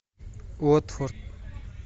уотфорд